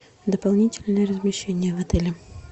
дополнительное размещение в отеле